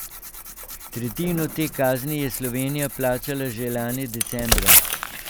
Tretjino te kazni je Slovenija plačala že lani decembra.